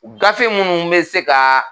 Gafe munnu be se ka